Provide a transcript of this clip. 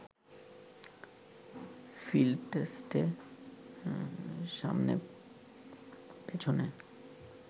field টেস্টে সামনে-পেছনে